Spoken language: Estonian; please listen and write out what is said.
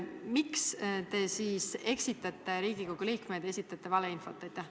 Miks te eksitate Riigikogu liikmeid ja esitate valeinfot?